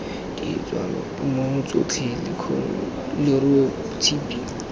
ditswatemong tsotlhe lekgong leruo tshipi